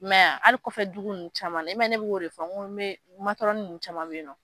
I ma ye a, hali kɔfɛ dugu caman na, i ma ye bɛ o de fɔ nin caman bɛ yen nɔ.